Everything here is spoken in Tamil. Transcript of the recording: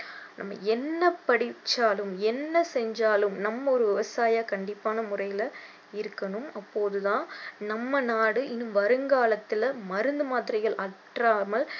நம்ம என்ன படிச்சாலும் என்ன செஞ்சாலும் நம்ம ஒரு விவசாயியா கண்டிப்பான முறையில இருக்கணும் அப்போதான் நம்ம நாடு இன்னும் வருங்காலத்தில மருந்து மாத்திரைகள் அற்றாமல்